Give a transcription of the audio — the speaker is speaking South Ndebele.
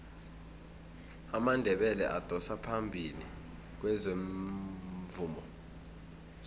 amandebele adosa phambili kwezomvumo